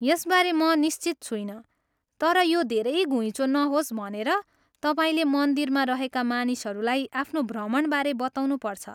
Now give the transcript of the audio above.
यसबारे म निश्चित छुइनँ तर यो धेरै घुइँचो नहोस् भनेर तपाईँले मन्दिरमा रहेका मानिसहरूलाई आफ्नो भ्रमणबारे बताउनुपर्छ ।